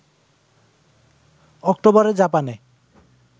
অক্টোবরে জাপানে